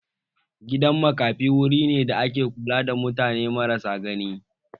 Gidan makafi wuri ne da ake kula da mutane marasa gani